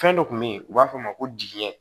Fɛn dɔ kun bɛ ye u b'a f'a ma ko jigiɲɛ